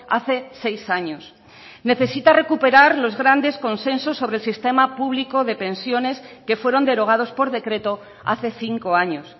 hace seis años necesita recuperar los grandes consensos sobre el sistema público de pensiones que fueron derogados por decreto hace cinco años